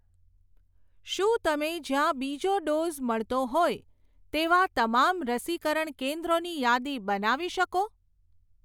શું તમે જ્યાં બીજો ડોઝ મળતો હોય એવાં તમામ રસીકરણ કેન્દ્રોની યાદી બનાવી શકો?